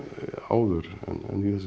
áður en í þessum